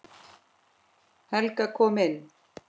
Helga kom inn.